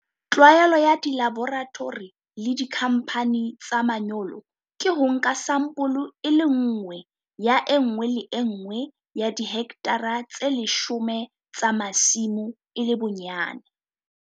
Tlwaelo ya dilaboratori le dikhamphane tsa manyolo ke ho nka sampole e le nngwe ya e nngwe le e nngwe ya dihekthara tse leshome tsa masimo e le bonyane.